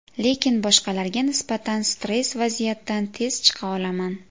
Lekin boshqalarga nisbatan stress vaziyatdan tez chiqa olaman.